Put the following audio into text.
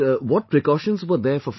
What precautions were there for family